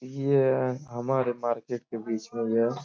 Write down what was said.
ये हमारे मार्केट के बीच में यह --